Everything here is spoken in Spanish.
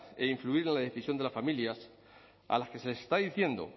e influir en la decisión de las familias a las que se les está diciendo